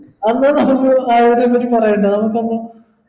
എന്നാ നമക്ക് ആരോഗ്യത്തെ പെറ്റി പറയണ്ട നമ്മക്കങ്